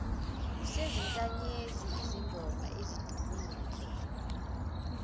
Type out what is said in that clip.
sezinkanyezi izingoma ezidumile